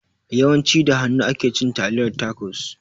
Yawan ci da hanu ake cin taliyar tacos